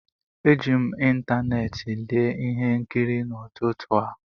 Eji m ịntanetị lee ihe nkiri n'ụtụtụ a